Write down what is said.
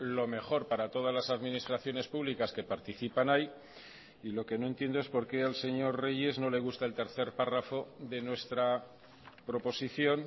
lo mejor para todas las administraciones públicas que participan ahí y lo que no entiendo es por qué al señor reyes no le gusta el tercer párrafo de nuestra proposición